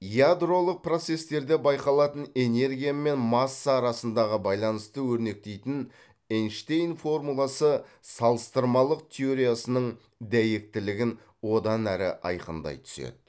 ядролық процестерде байқалатын энергия мен масса арасындағы байланысты өрнектейтін эйнштейн формуласы салыстырмалық теориясының дәйектілігін одан әрі айқындай түседі